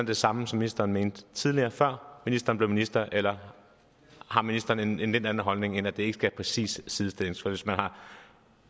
det samme som ministeren mente tidligere før ministeren blev minister eller har ministeren en lidt anden holdning end at det ikke præcis skal sidestilles hvis man har